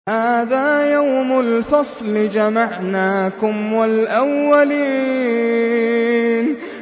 هَٰذَا يَوْمُ الْفَصْلِ ۖ جَمَعْنَاكُمْ وَالْأَوَّلِينَ